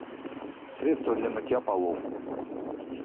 средство для мытья полов